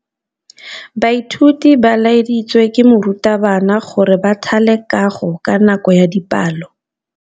Baithuti ba laeditswe ke morutabana gore ba thale kagô ka nako ya dipalô.